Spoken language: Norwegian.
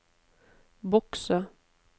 bokse